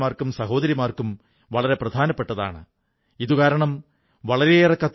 നമ്മുടെ യുവസുഹൃത്തുക്കൾ ഇതേക്കുറിച്ചും അറിയണം ഇവ പഠിക്കണം എന്നു ഞാനാഗ്രഹിക്കുന്നു